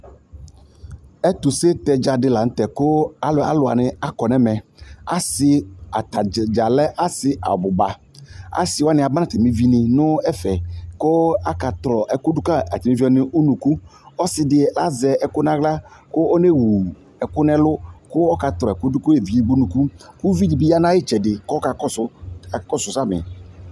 Ɛtʋsetɛ dza dɩ la nʋ tɛ kʋ alʋ alʋ wanɩ akɔ nʋ ɛmɛ Asɩ ata dza dza lɛ asɩ abʋ ba Asɩ wanɩ aba nʋ atamɩ evinɩ nʋ ɛfɛ kʋ atɔlɔ ɛkʋ dʋ ka atamɩ evi wanɩ nʋ unuku Ɔsɩ dɩ azɛ ɛkʋ nʋ aɣla kʋ ɔnewu ɛkʋ nʋ ɛlʋ kʋ ɔkatɔlɔ ɛkʋ dʋ ka evidze edigbo nʋ unuku kʋ uvi dɩ bɩ ya nʋ ayʋ ɩtsɛdɩ kʋ ɔkakɔsʋ, ɔkakɔsʋ samɩ